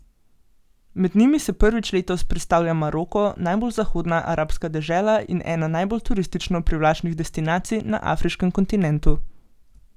Med njimi se prvič letos predstavlja Maroko, najbolj zahodna arabska dežela in ena najbolj turistično privlačnih destinacij na afriškem kontinentu.